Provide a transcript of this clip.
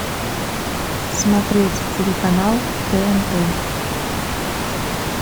смотреть телеканал тнт